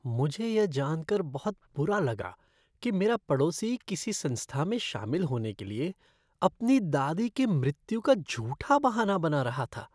मुझे यह जान कर बहुत बुरा लगा कि मेरा पड़ोसी किसी संस्था में शामिल होने के लिए अपनी दादी की मृत्यु का झूठा बहाना बना रहा था।